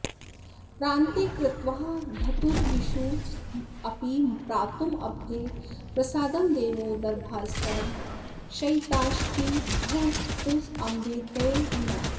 प्रान्ते कृत्वा धतुरिषुमपि प्रातुमब्धेः प्रसादं देवो दर्भास्तरणशयितश्चित्तभुत्तम्भते नः